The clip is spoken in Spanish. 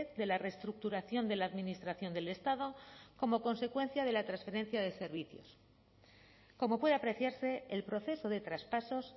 de la reestructuración de la administración del estado como consecuencia de la transferencia de servicios como puede apreciarse el proceso de traspasos